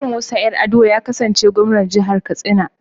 Umaru Musa Yar'adua ya kasance Gwamnan Jihar Katsina.